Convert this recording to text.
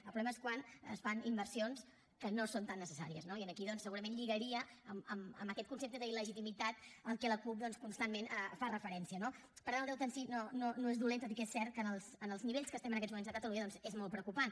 el problema és quan es fan inversions que no són tan necessàries no i aquí doncs segurament lligaria amb aquest concepte d’il·legitimitat a què la cup constantment fa referència no per tant el deute en si no és dolent tot i que és cert que en els nivells que estem en aquests moments a catalunya doncs és molt preocupant